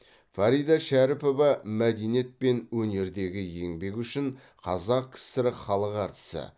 фарида шәріпова мәдениет пен өнердегі еңбегі үшін қазақ кср халық әртісі